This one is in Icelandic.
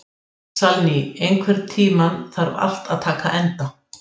Segulsviðið verður því að sveigja fram hjá og getur við það lyft hlutnum.